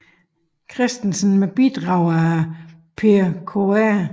Christensen med bidrag af Per Kr